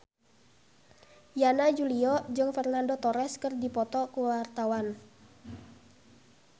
Yana Julio jeung Fernando Torres keur dipoto ku wartawan